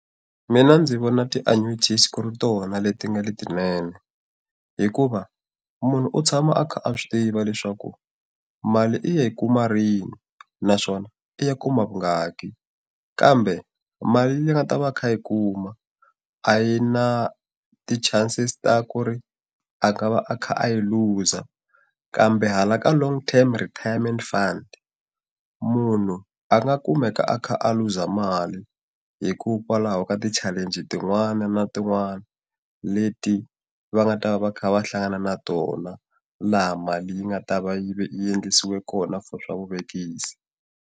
Mina ndzi vona ti ku ri tona leti nga letinene hikuva, munhu u tshama a kha a swi tiva leswaku mali i ya hi kuma rini naswona i ya kuma vungaki. Kambe mali leyi a nga ta va a kha a yi kuma a yi na ti-chances ta ku ri a va a kha a yi luza. Kambe hala ka long term retirement fund, munhu a nga kumeka a kha a luza mali hikokwalaho ka ti-challenge-i tin'wana na tin'wana leti va nga ta va va kha va hlangana na tona, laha mali yi nga ta va yi endlisiwa kona for swa vuvekisi.